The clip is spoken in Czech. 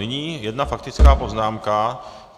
Nyní jedna faktická poznámka.